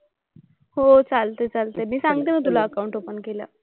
हो चालतंय. चालतंय. मी सांगते मग तुला अकाउंट ओपन केल्यावर.